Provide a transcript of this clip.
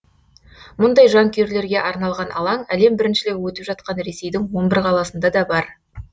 мұндай жанкүйерлерге арналған алаң әлем біріншілігі өтіп жатқан ресейдің он бір қаласында да бар